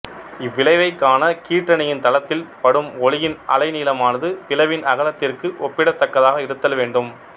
இவ்விளைவைக் காண கீற்றணியின் தளத்தில் படும் ஒளியின் அலைநீளமானது பிளவின் அகலத்திற்கு ஒப்பிடத்தக்கதாக இருத்தல் வேண்டும்